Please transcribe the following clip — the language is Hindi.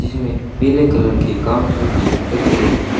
जिसमें पीले कलर के काउंटर भी रखे गए हैं।